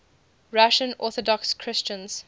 russian orthodox christians